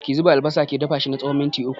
Ki zuba albasa ki dafa na tsawon mintuna uku